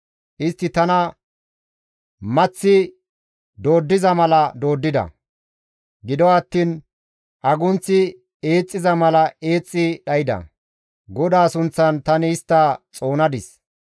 Istti tana maththi dooddiza mala dooddida; gido attiin agunththi eexxiza mala eexxi dhayda; GODAA sunththan tani istta xoonadis.